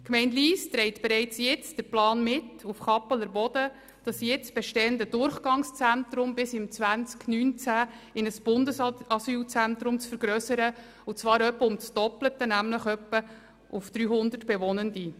Die Gemeinde Lyss trägt bereits jetzt den Plan mit, auf Kappeler Boden das jetzt bestehende Durchgangszentrum bis 2019 in ein Bundesasylzentrum zu vergrössern, und zwar auf etwa das Doppelte, nämlich etwa auf 300 Bewohnende.